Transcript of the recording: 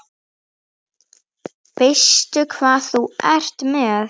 Veistu hvað þú ert með?